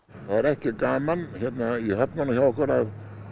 það er ekki gaman hérna í höfnunum hjá okkur að